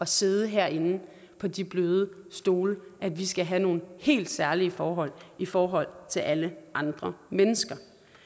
sidde herinde på de bløde stole at vi skal have nogle helt særlige forhold i forhold til alle andre mennesker